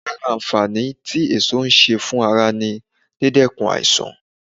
Ara àǹfààní tí èso ń ṣe fún ara ni, dídènà ààrùn